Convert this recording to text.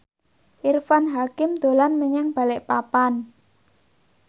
Irfan Hakim dolan menyang Balikpapan